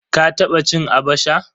Ka taba cin "Abacha"?